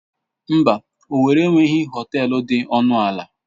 Mba, owerri enweghị họtel dị ọnụ ala.